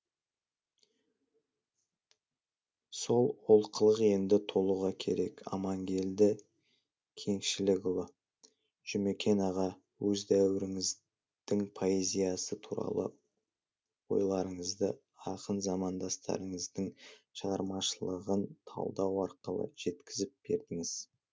сол олқылық енді толуға керек амангелді кеңшілікұлы жұмекен аға өз дәуіріңіздің поэзиясы туралы ойларыңызды ақын замандастарыңыздың шығармашылығын талдау арқылы жеткізіп бердіңіз